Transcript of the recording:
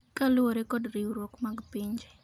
kaluwore kod riwruok mag pinje